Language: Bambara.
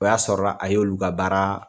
O y'a sɔrɔ la, a ye olu ka baara